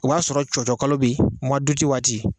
O b'a sɔrɔ cɔcɔ kalo be yen muwa duti waati